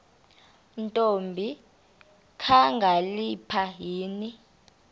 ntombi kakhalipha yini